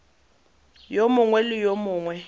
yo mongwe le yo mongwe